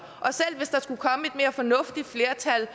fornuftigt flertal